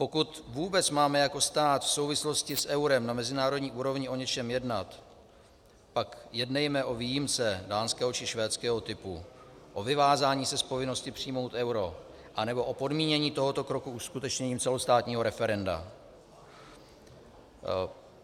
Pokud vůbec máme jako stát v souvislosti s eurem na mezinárodní úrovni o něčem jednat, pak jednejme o výjimce dánského či švédského typu, o vyvázání se z povinnosti přijmout euro, anebo o podmínění tohoto kroku uskutečněním celostátního referenda.